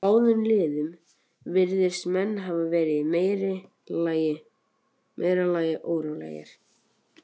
Í báðum liðum virðast menn hafa verið í meira lagi órólegir.